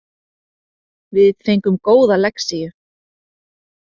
Við fengum góða lexíu